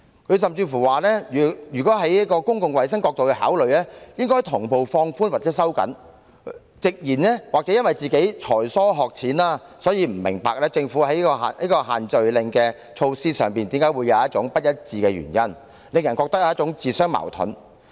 他甚至指出，若從公共衞生角度考慮，措施應同步放寬或收緊，並直言也許自己才疏學淺，所以不明白政府的限聚令措施為何會出現不一致，令人感到它在施政上自相矛盾。